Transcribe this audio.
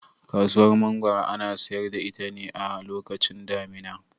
Kasuwar Mangoro ana sayar da ita ne a lokacin damina.